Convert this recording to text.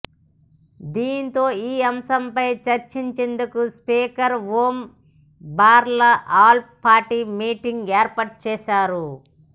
దీంతో ఈ అంశంపై చర్చించేందుకు speaker Om Birla all party meeting ఏర్పాటు చేశారు